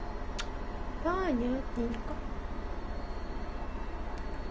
понятненько